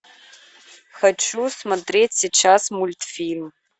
хочу смотреть сейчас мультфильм